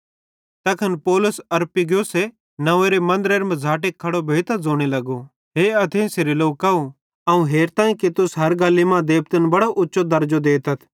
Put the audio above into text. तैखन पौलुस अरियुपगुसे नव्वेंरे मन्दरे मझ़ाटे खड़ो भोइतां ज़ोने लगो हे एथेंसेरे लोकव अवं हेरताईं कि तुस हर गल्ली मां देबतन बड़ो उच्चो द्रजो देतथ